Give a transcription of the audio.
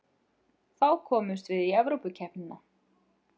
Þá komumst við í Evrópukeppnina